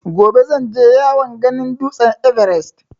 Gobe zan je yawon ganin dutsen ''Everest''.